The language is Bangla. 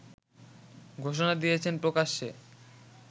ঘোষণা দিয়েছেন প্রকাশ্যে